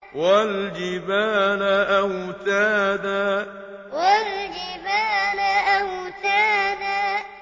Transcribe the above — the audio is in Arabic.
وَالْجِبَالَ أَوْتَادًا وَالْجِبَالَ أَوْتَادًا